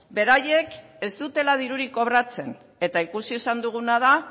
beraiek ez dutela dirurik kobratzen eta ikusi izan duguna da